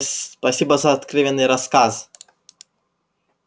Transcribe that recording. с спасибо за откровенный рассказ